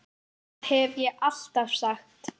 Það hef ég alltaf sagt.